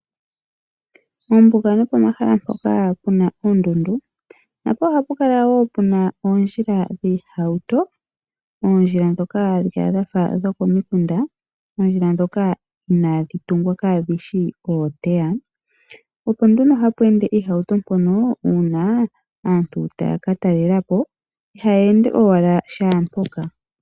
Mombuga nopo mahala mpoka puna oondundu. Napo oha pukala wo puna oondjila dhii hauto. Oondjila ndhoka dhafa dhokomikunda . Ondjila ndhoka inaadhi tungwa kaadhi shi ooteya. Opo nduno hapweende iihauto mpono uuna aantu taya katalelapo ihaya ende owala shaa mpoka.